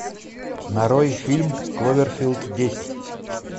нарой фильм кловерфилд десять